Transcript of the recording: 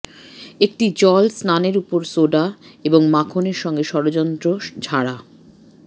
একটি জল স্নানের উপর সোডা এবং মাখন সঙ্গে ষড়যন্ত্র ঝাড়া